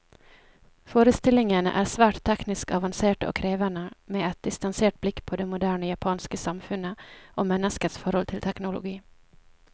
Forestillingene er svært teknisk avanserte og krevende, med et distansert blikk på det moderne japanske samfunnet, og menneskets forhold til teknologi.